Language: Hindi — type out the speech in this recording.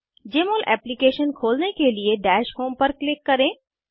जमोल एप्लीकेशन खोलने के लिए दश होम पर क्लिक करें